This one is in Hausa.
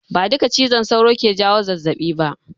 Ba duka cizon sauro ke jawo zazzaɓi ba.